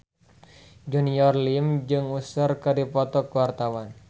Junior Liem jeung Usher keur dipoto ku wartawan